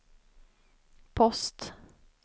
post